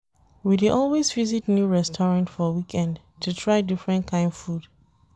We dey always visit new restaurant for weekend to try different kain food.